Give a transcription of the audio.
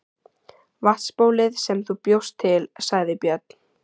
Vatnsbólið sem þú bjóst til, sagði Björn.